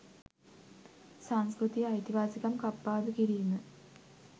සංස්කෘතිය අයිතිවාසිකම් කප්පාදු කිරීම